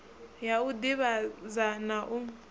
ya u divhadza na u